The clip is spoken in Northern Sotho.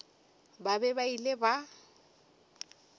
ba be ba ile ba